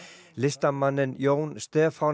listamanninn Jón Stefán